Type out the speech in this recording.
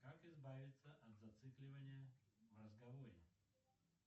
как избавиться от зацикливания в разговоре